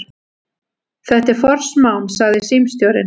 Þetta er forsmán, sagði símstjórinn.